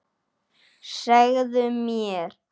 Segðu mér.